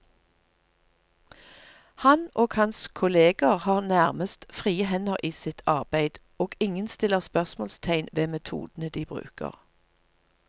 Han og hans kolleger har nærmest frie hender i sitt arbeid, og ingen stiller spørsmålstegn ved metodene de bruker.